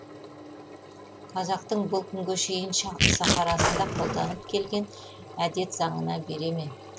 қазақтың бұл күнге шейін сахарасында қолданып келген әдет заңына бере ме